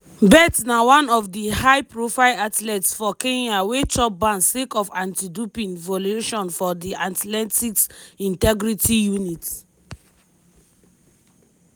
bett na one of di high-profile athletes for kenya wey chop ban sake of anti-doping violations by di athletics integrity unit.